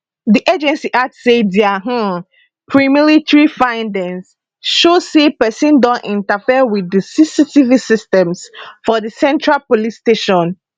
di agency add say dia um premilitary findings show say pesin don interfere wit di cctv systems for di central police station